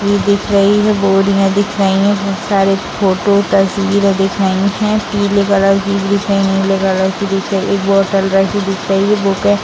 इ दिख रही है बोरियां दिख रही है बहुत सारे फोटो तस्वीरें दिख रही है पीले कलर की दिख रही है नीले कलर की दिख रही एक बोतल रखी दिख रही है बुके --